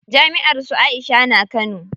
Jami'ar su Aisha na Kano.